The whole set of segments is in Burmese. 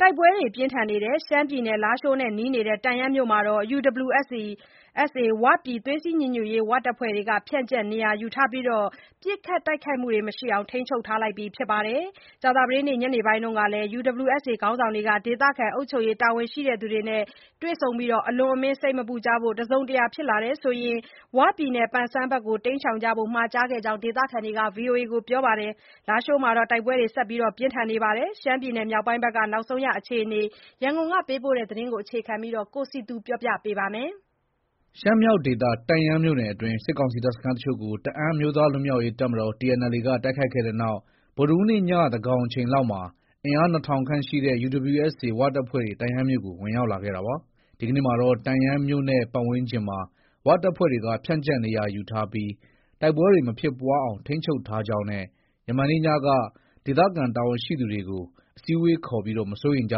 တိုက်ပွဲတွေပြင်းထန်နေတဲ့ ရှမ်းပြည် လားရှိုးနဲ့ နီးနေတဲ့ တန့်ယန်းမြို့မှာ UWSA ဝပြည် သွေးစည်းညီညွတ်ရေး တပ်ဖွဲ့တွေ ဖြန့်ကျက် နေရာယူထားပြီး ပစ်ခတ်တိုက်ခိုက်မှုတွေ မရှိအောင် ထိန်းချုပ်ထားပြီ ဖြစ်ပါတယ်။ ကြာသပတေးနေ့ ညနေပိုင်းမှာလည်း UWSA ခေါင်းဆောင်တွေဟာ ဒေသခံ အုပ်ချုပ်ရေး တာဝန်ရှိသူတွေနဲ့ တွေ့ဆုံခဲ့ပြီး အလွန်အမင်း စိတ်မပူကြဖို့နဲ့ တစုံတရာ ဖြစ်လာရင် ဝပြည်နယ် ပန်ဆန်းဘက်ကို တိမ်းရှောင်ဖို့ မှာကြားခဲ့ကြောင်း ဒေသခံတွေက ဗွီအိုအေကို ပြောပါတယ်။ လားရှိုးမှာတော့ တိုက်ပွဲတွေ ဆက်လက် ပြင်းဒဏ်နေပါတယ်။ ရန်ကုန်က ပေးပို့လာတဲ့ ရှမ်းပြည်နယ် မြောက်ပိုင်းက နောက်ဆုံးရသတင်းကို ကိုစည်သူက တင်ပြပေးပါမယ်။ ရှမ်းမြောက်ဒေသ တန့်ယန်းမြို့နယ်အတွင်း စစ်ကောင်စီတပ်စခန်းတချို့ကို တအန်းအမျိုးသားလွတ်မြောက်ရေးတပ်မတော် TNLA က တိုက်ခိုက်ခဲ့တဲ့နောက် ဗုဒ္ဓဟူးနေ့ည သန်းခေါင်အချိန်လောက်မှာ အင်အား ၂၀၀၀ ခန့်ရှိတဲ့ UWSA ဝတပ်ဖွဲ့တွေ တန့်ယန်းမြို့ကို ဝင်ရောက်လာခဲ့တာပါ။ ဒီကနေ့မှာတော့ တန့်ယန်းမြို့နဲ့ ပတ်ဝန်းကျင်မှာ ဝတပ်ဖွဲ့တွေက ဖြန့်ကျက်နေရာယူထားပြီး တိုက်ပွဲတွေ မဖြစ်ပွားအောင် ထိန်းချုပ်ထားကြောင်းနဲ့ ယမန်နေ့ညက ဒေသခံတာဝန်ရှိသူတွေကို အစည်းအဝေးခေါ်ပြီး မစိုးရိမ်ကြ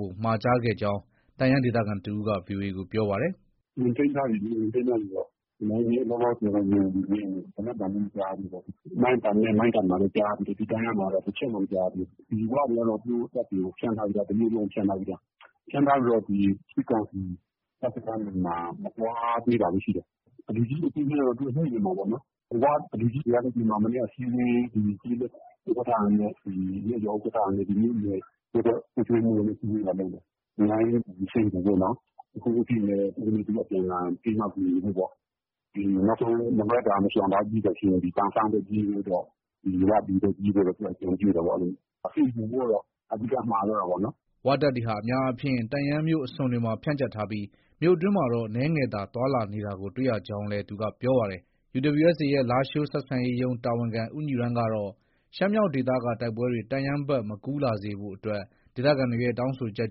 ဖို့ မှာကြားခဲ့ကြောင်း တန့်ယန် ဒေသခံတဦးက VOA ကို ပြောပါတယ်။ “ ဝင်ထိန်းထားပြီလေ။ ဝင်ထိန်းထားပြီပေါ့။ နယ်မြေကတော့ လောလောဆယ်တော့ ငြိမ်နေသေးတယ်။ သေနတ်သံလည်း မကြားဘူးပေါ့။ မိုင်းပတ်နဲ့မန်ကတ်မှာတော့ ကြားရသေးတယ်။ ဒီတန့်ယန်းမှာတော့ တချက်မှ မကြားရသေးဘူး။ ဒီဝတွေကတော့ သူတို့ တပ်တွေကို ဖြန့်ထားပြီးသား၊ တမြို့လုံးကို ဖြန့်ထားပြီးသား။ ဖြန့်ထားပြီးတော့ စစ်ကောင်စီတပ်စခန်းတွေမှာ မသွားသေးတာပဲ ရှိတယ်။ လူကြီးတွေအချင်းချင်းကတော့ သူတို့ ညှိနေမှာပေါ့နော်။ ဝလူကြီးတွေကလည်း ဒီမှာ အစည်းအဝေး ကျေးလက်ဥက္ကဋ္ဌတွေနဲ့ ၊ ရပ်ရွာဥက္ကဋ္ဌတွေနဲ့ မြို့နယ်၊ ရပ်ကွက် အုပ်ချုပ်ရေးမှုးတွေနဲ့ အစည်းအဝေးလာလုပ်တယ်။ အများကြီး စိတ်မပူဖို့ပေါ့နော်။ တခုခုဖြစ်ရင်လည်း တယောက်နဲ့ တယောက် အပြန်အလှန်ဖေးမ ကူညီဖို့ပေါ့။ နောက်ဆုံးမလွှဲသာမရှောင်သာလို့ ပြေးစရာရှိရင် ဒီပန်ဆန်းပဲ ပြေးဖို့ပေါ့။ ဝပြည်ပဲ ပြေးဖို့ပေါ့ သူတို့က အကြံပြုတာပေါ့ အဲလို။ စိတ်မပူဖို့ကတော့ အဓိက မှာသွားတာပေါ့နော်။ ” ဝတပ်တွေဟာ အများအားဖြင့် တန့်ယန်းမြို့အစွန်တွေမှာ ဖြန့်ကျက်ထားပြီး မြို့အတွင်းမှာတော့ အနည်းငယ်သာ သွားလာနေတာကို တွေ့ရကြောင်းလည်း သူက ပြောပါတယ်။ UWSA ရဲ့ လားရှိုးဆက်ဆံရေးရုံး တာဝန်ခံ ဦးညီရန်ကတော့ ရှမ်းမြောက်ဒေသက တိုက်ပွဲတွေ တန့်ယန်းဘက်မကူးစက်လာစေဖို့အတွက် ဒေသခံတွေရဲ့ တောင်းဆိုချက်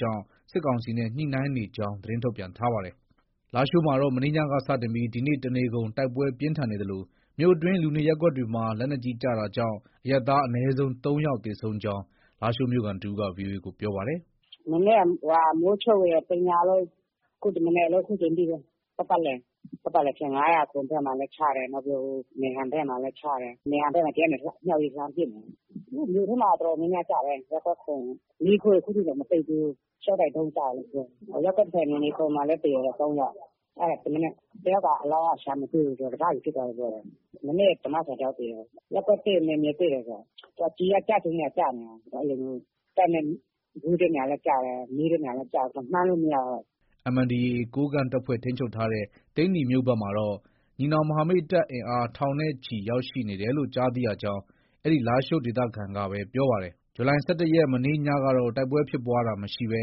ကြောင့် စစ်ကောင်စီနဲ့ ညှိနှိုင်းနေကြောင်း သတင်းထုတ်ပြန်ထားပါတယ်။ လားရှိုးမြို့မှာတော့ မနေ့ညက စတင်ပြီး ဒီနေ့ တနေကုန် တိုက်ပွဲပြင်းထန်နေသလို မြို့အတွင်း လူနေရပ်ကွက်တွေမှာ လက်နက်ကြီး ကျတာကြောင့် အရပ်သား အနည်းဆုံး ၃ယောက်သေဆုံးကြောင်း လားရှိုးမြို့ခံတဦးက ဗွီအိုအေကို ပြောပါတယ်။ “ မနေ့က မိုးချုပ်ကနေ တညလုံး၊ ခု ဒီမနက်လည်း အခုအချိန်ထိပဲ။ ပတ်ပတ်လည်၊ ပတ်ပတ်လည်ဖြစ်နေတာ။ ၅၀၇ဘက်မှာလည်း ချတယ်။ နောက်ပြီးတော့ ဟိုမယ်ဟန်ဘက်မှာလည်း ချတယ်။ မယ်ဟန်ဘက်မှာ ဒီကနေ အမြောက်နဲ့ လှမ်းပစ်နေတာ။ မြို့ထဲမှာ တော်တော်များများ ကျတယ်။ ရပ်ကွက် ၇၊ မီးခိုးတွေ အခုထိတောင် မတိတ်သေးဘူး။ ရှော့တိုက်ဒုံးကျတယ်လို့ ပြောတယ်။ ရပ်ကွက် ၇ နယ်မြေ ၇မှာလည်း သေတယ်တဲ့ ၃ယောက်။ အဲဒါ ဒီမနက် တယောက်က အလောင်းက ရှာမတွေ့ဘူး ။ တစစီဖြစ်သွားတယ်ပြောတယ်။ မနေ့က ဓမ္မဆရာတယောက်သေတယ်။ ရပ်ကွက်၁၊ နယ်မြေ ၁လေ။ သူက ကျည်က ကျချင်တဲ့နေရာ ကျနေတာ။ အဲလိုမျိုး ။ တပ်နဲ့ ဝေးတဲ့နေရာလည်း ကျတယ်။ နီးတဲ့နေရာလည်း ကျတယ်။မှန်းလို့ မရဘူး။ ” MNDAA ကိုးကန့်တပ်ဖွဲ့ ထိန်းချုပ်ထားတဲ့ သိန္နီမြို့ဘက်ကမှာတော့ ညီနောင်မဟာမိတ်တပ်အင်အား ထောင်နဲ့ချီရောက်ရှိနေတယ်လို့ ကြားသိရကြောင်း အဲဒီလားရှိုးဒေသခံကပဲ ပြောပါတယ်။ ဇူလိုင် ၁၁ ရက် မနေ့ ညကတော့ တိုက်ပွဲဖြစ်ပွားတာမရှိဘဲ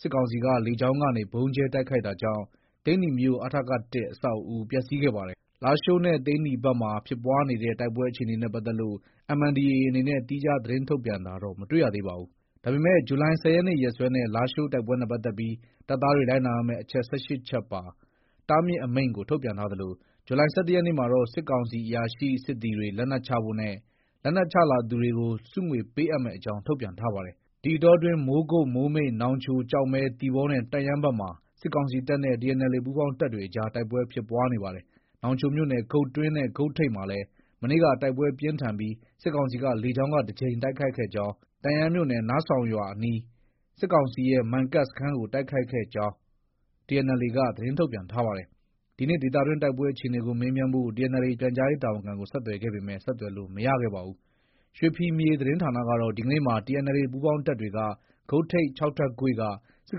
စစ်ကောင်စီက လေကြောင်းကနေ ဗုံးကြဲတိုက်ခိုက်တာကြောင့် သိန္နီမြို့ အထက ၁ အဆောက်အဦ ပျက်စီးခဲ့ပါတယ်။ လားရှိုးနဲ့ သိန္နီ ဘက်မှာ ဖြစ်ပွားနေတဲ့ တိုက်ပွဲအခြေအနေနဲ့ပတ်သက်လို့ MNDAA အနေနဲ့ သီးခြားသတင်းထုတ်ပြန်တာတော့ မတွေ့ရပါဘူး။ ဒါပေမဲ့ ဇူလိုင် ၁၀ရက်နေ့ရက်စွဲနဲ့ လားရှိုးတိုက်ပွဲနဲ့ပတ်သက်ပြီး တပ်သားတွေ လိုက်နာရမယ့် အချက် ၁၈ချက်ပါ တားမြစ်အမိန့် ကို ထုတ်ပြန်ထားသလို ဇူလိုင် ၁၁ ရက်နေ့မှာတော့ စစ်ကောင်စီ အရာရှိ၊စစ်သည်တွေ လက်နက်ချဖို့နဲ့ လက်နက်ချလာသူတွေကို ဆုငွေ ပေးအပ်မယ့်အကြောင်း ထုတ်ပြန်ထားပါတယ်။ ဒီအတောအတွင်း မိုးကုတ်၊ မိုးမိတ်၊ နောင်ချို၊ကျောက်မဲ၊ သီပေါနဲ့ တန့်ယန်းဘက်မှာ စစ်ကောင်စီတပ်နဲ့ TNLA ပူးပေါင်းတပ်တွေအကြား တိုက်ပွဲဖြစ်ပွားနေပါတယ်။နောင်ချိုမြို့နယ် ဂုတ်တွင်းနဲ့ ဂုတ်ထိပ် မှာလည်း မနေ့က တိုက်ပွဲပြင်းထန်ပြီး စစ်ကောင်စီက လေကြောင်းက တကြိမ်တိုက်ခိုက်ခဲ့ကြောင်း၊ တန့်ယန်းမြို့နယ် နားဆောင်ရွာအနီး စစ်ကောင်စီရဲ့ မန်ကတ်စခန်းကို တိုက်ခိုက်ခဲ့ကြောင်းTNLA က သတင်းထုတ်ပြန်ထားပါတယ်။ ဒီနေ့ ဒေသတွင်း တိုက်ပွဲအခြေအနေကို မေးမြန်းဖို့ TNLA ပြန်ကြားရေးတာဝန်ခံကို ဆက်သွယ်ခဲ့ပေမဲ့ ဆက်သွယ်လို့ မရခဲ့ပါဘူး။ ရွှေဖီမြေသတင်းဌာနကတော့ ဒီကနေ့မှာ TNLA ပူးပေါင်းတပ်တွေက ဂုတ်ထိပ် ၆ထပ်ကွေ့ က စစ်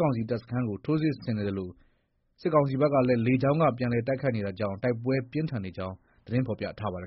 ကောင်စီတပ်စခန်းကို ထိုးစစ်ဆင်နေသလို စစ်ကောင်စီဘက်ကလည်း လေကြောင်းက ပြန်လည် တိုက်ခိုက်နေတာကြောင့် တိုက်ပွဲပြင်းထန်နေကြောင်း သတင်းဖော်ပြထားပါတယ်